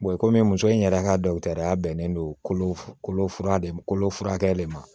komi muso in yɛrɛ ka dɔ ya bɛnnen do kolo kolo kolo furakɛli ma